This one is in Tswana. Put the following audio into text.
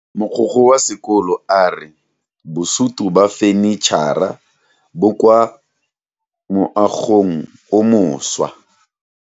Mogokgo wa sekolo a re bosuto ba fanitšhara bo kwa moagong o mošwa.